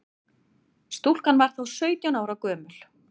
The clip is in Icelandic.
Stúlkan var þá sautján ára gömul